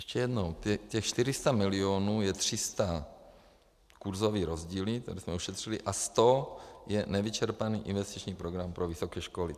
Ještě jednou, těch 400 milionů je 300 kurzové rozdíly, které jsme ušetřili, a 100 je nevyčerpaný investiční program pro vysoké školy.